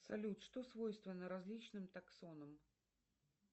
салют что свойственно различным таксонам